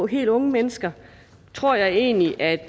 helt unge mennesker tror jeg egentlig at